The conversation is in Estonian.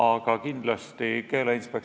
Analoogsel kujul eelnõusid on meile esitatud kümneid.